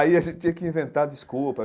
Aí a gente tinha que inventar desculpa.